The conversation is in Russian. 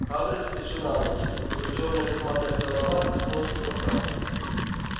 хагрид вскочил на ноги его чёрная косматая голова коснулась потолка